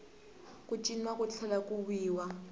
ku ciniwa ku tlhela ku wiwa